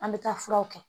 An bɛ taa furaw kɛ